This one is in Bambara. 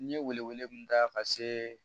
N ye wele wele mun da ka se